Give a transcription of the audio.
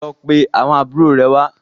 Lọ pé àwọn àbúrò rẹ wá.